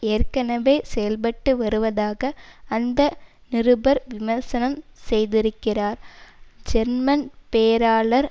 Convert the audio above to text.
ஏற்கனவே செயல்பட்டு வருவதாக அந்த நிருபர் விமர்சனம் செய்திருக்கிறார் ஜெர்மன் பேராளர்